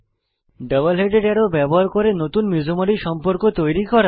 double headed arrow ব্যবহার করে নতুন মিসোম্যারি সম্পর্ক তৈরি করা